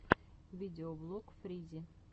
видеоблог фризи